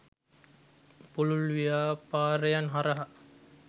පුළුල් ව්‍යාපාරයන් හරහා